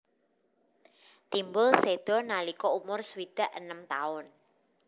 Timbul séda nalika umur swidak enem taun